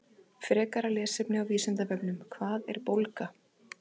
Frekara lesefni á Vísindavefnum: Hvað er bólga?